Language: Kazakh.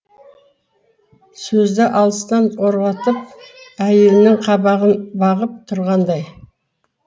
сөзді алыстан орғатып әйелінің қабағын бағып тұрғандай